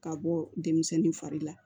Ka bɔ denmisɛnnin fari la